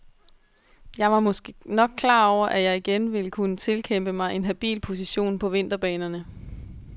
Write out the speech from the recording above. Jeg var måske nok klar over, at jeg igen ville kunne tilkæmpe mig en habil position på vinterbanerne.